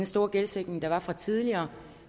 store gældsætning der var fra tidligere